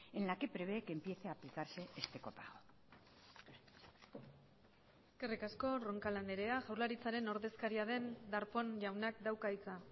en la que prevé que empiece aplicarse este copago eskerrik asko roncal andrea jaurlaritzaren ordezkaria den darpón jaunak dauka hitza